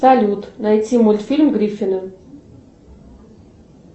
салют найти мультфильм гриффины